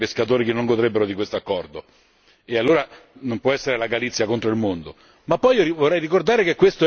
Anzi, cambierebbe per tutto il resto dei pescatori che non godrebbero di quest'accordo e, allora, non può essere la Galizia contro il mondo!